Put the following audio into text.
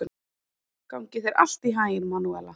Gangi þér allt í haginn, Manúela.